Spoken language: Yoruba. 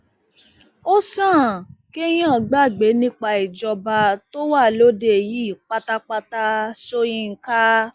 ó sàn kéèyàn gbàgbé nípa ìjọba tó wà lóde yìí pátápátá sọyìnkà